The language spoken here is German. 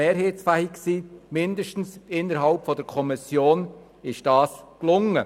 Das ist mindestens innerhalb der Kommission gelungen.